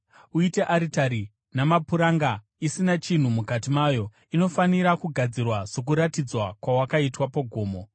Uite aritari namapuranga, isina chinhu mukati mayo. Inofanira kugadzirwa sokuratidzwa kwawakaitwa pagomo.